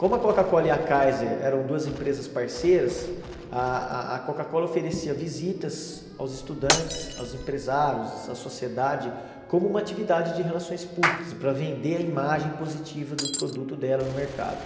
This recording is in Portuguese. Como a Coca-Cola e a Kaiser eram duas empresas parceiras, ah a Coca-Cola oferecia visitas aos estudantes, aos empresários, à sociedade, como uma atividade de relações públicas, para vender a imagem positiva do produto dela no mercado.